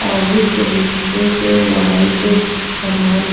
औ उस रिक्शे पे व्हाइट सामान --